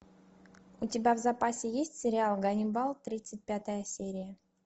у тебя в запасе есть сериал ганнибал тридцать пятая серия